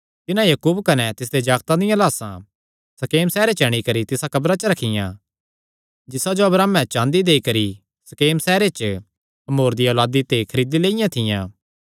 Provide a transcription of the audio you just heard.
तिन्हां याकूब कने तिसदे जागतां दियां लाह्सां शकेम सैहरे च अंणी करी तिसा कब्रा च रखियां जिसा जो अब्राहमे चाँदी देई करी शकेम सैहरे च हमोर दिया औलादी ते खरीदी लियो थी